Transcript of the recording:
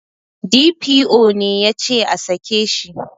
D.P.O ne yace a sake shi